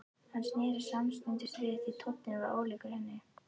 Hann sneri sér samstundis við því tónninn var ólíkur henni.